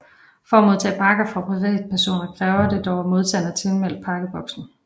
For at modtage pakke fra privatpersoner kræver det dog at modtageren er tilmeldt Pakkeboksen